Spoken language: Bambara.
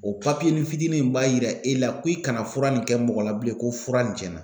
O papiye ni fitinin in b'a yira e la ko i kana fura nin kɛ mɔgɔ la bilen, ko fura nin cɛnna .